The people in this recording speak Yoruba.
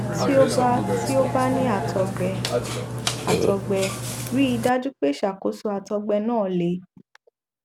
tí ó bá tí ó bá ní àtọgbẹ àtọgbẹ rí i dájú pé ìṣàkóso àtọgbẹ náà le